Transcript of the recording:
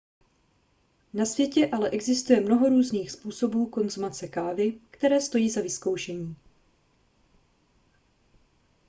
na světě ale existuje mnoho různých způsobů konzumace kávy které stojí za vyzkoušení